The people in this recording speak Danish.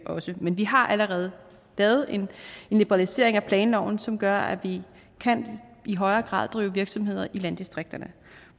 også men vi har allerede lavet en liberalisering af planloven som gør at vi i højere grad kan drive virksomhed i landdistrikterne